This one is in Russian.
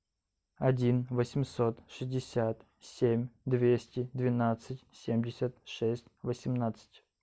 один восемьсот шестьдесят семь двести двенадцать семьдесят шесть восемнадцать